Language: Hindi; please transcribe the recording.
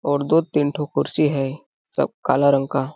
और दो तीन ठो कुर्सी है सब काला रंग का --